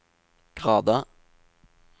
grader